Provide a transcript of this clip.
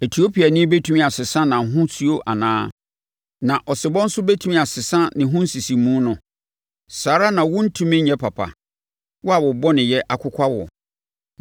Etiopiani bɛtumi asesa nʼahosuo anaa? Na ɔsebɔ nso bɛtumi asesa ne ho nsisimu no? Saa ara na worentumi nyɛ papa, wo a bɔneyɛ akokwa wo.